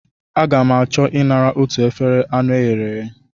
Aga m achọ I nara otu efere anụ e ghere eghe.